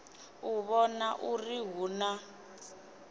u vhona uri hu na